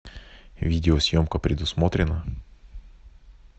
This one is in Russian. видеосъемка предусмотрена